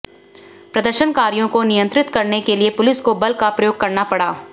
प्रदर्शनकारियों को नियंत्रित करने के लिए पुलिस को बल प्रयोग करना पड़ा